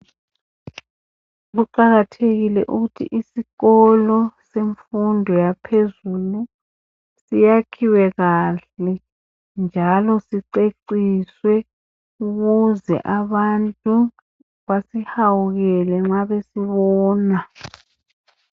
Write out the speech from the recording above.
Kuqakathekile ukuthi isikolo semfundo yaphezulu, yakhiwe kahle, siceciswe! Ukuze abantu besihawukele nxa besibona.